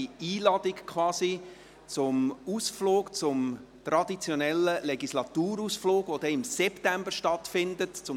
Es handelt sich um eine persönliche Einladung zum traditionellen Legislaturausflug, der im September stattfinden wird.